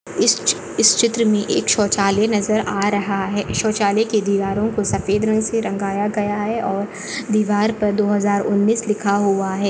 इस चित्र मे एक शौचालय नजर आ रहा है शौचालय के दीवारों कों सफ़ेद रंग से रंगाया गया है और दीवार पर दो हजार उन्नीस लिखा हुआ है।